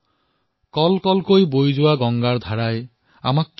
য়হ কল কল ছল ছল বহতী ক্যা কহতী গংগা ধাৰা